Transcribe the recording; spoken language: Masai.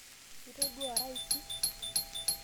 Ituduoa raisi?